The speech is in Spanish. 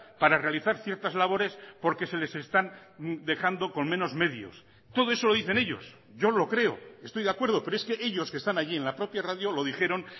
para realizar ciertas labores porque se les están dejando con menos medios todo eso lo dicen ellos yo lo creo estoy de acuerdo pero es que ellos que están allí en la propia radio lo dijeron